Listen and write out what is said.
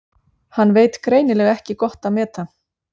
Hann veit greinilega ekki gott að meta.